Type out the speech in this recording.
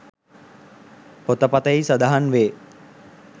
පොත පතෙහි සඳහන් වේ